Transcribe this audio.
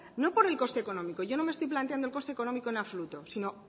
no por el coste económico yo no me estoy planteando el coste económico en absoluto sino